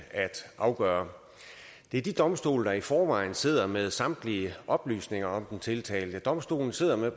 afgøre det er de domstole der i forvejen sidder med samtlige oplysninger om den tiltalte domstolen sidder med